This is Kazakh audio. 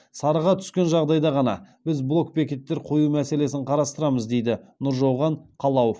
сарыға түскен жағдайда ғана біз блок бекеттер қою мәселесін қарастырамыз дейді нұржауған қалауов